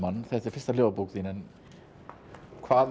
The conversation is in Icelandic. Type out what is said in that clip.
þetta er fyrsta ljóðabók þín hvað er